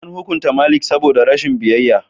An hukunta Malik saboda rashin biyayya.